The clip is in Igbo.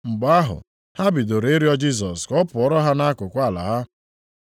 Mgbe ahụ, ha bidoro ịrịọ Jisọs ka ọ pụọra ha nʼakụkụ ala ha.